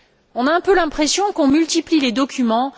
On a un peu l'impression qu'on multiplie les documents.